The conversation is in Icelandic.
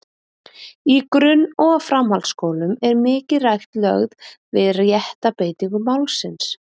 Í grunn- og framhaldsskólum er mikil rækt lögð við rétta beitingu málsins.